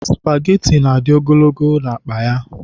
Spageti na-adị ogologo n'akpa ya.